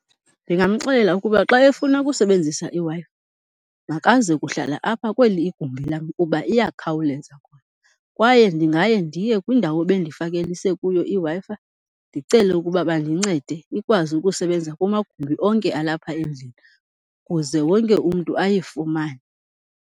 Ndingamxelela ukuba xa efuna ukusebenzisa iWi-Fi makaze kuhlala apha kweli igumbi lam kuba iyakhawuleza khona. Kwaye ndingaye ndiye kwindawo ebendifakelise kuyo iWi-Fi ndicele ukuba bandincede ikwazi ukusebenza kumagumbi onke alapha endlini kuze wonke umntu ayifumane.